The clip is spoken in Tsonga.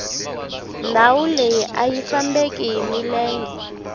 ndhawu leyi ayi fambeki hi milenge